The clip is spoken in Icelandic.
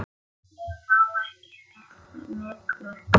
Ég má ekki við miklu.